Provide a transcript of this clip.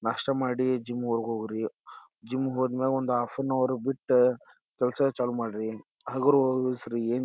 ನಾಷ್ಟಾ ಮಾಡಿ ಜಿಮ್ ವರ್ಗು ಹೋಗ್ರಿ ಜಿಮ್ ಗೆ ಹೋದ್ಮ್ಯಾಲ ಒಂದು ಹಾಫನವರ್ ಬಿಟ್ಟ ಕೆಲಸ ಚಾಲು ಮಾಡ್ರಿ. ಹಗರು ಏನ್--